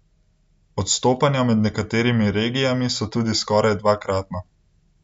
Odstopanja med nekaterimi regijami so tudi skoraj dvakratna.